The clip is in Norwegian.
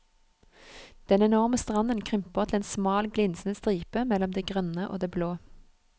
Den enorme stranden krymper til en smal glinsende stripe mellom det grønne og det blå.